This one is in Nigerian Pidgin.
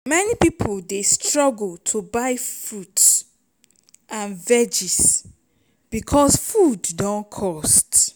many pipo dey struggle to buy fruits and veggies bicos food don cost.